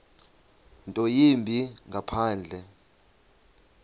nto yimbi ngaphandle